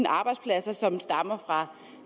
arbejdspladser som stammer fra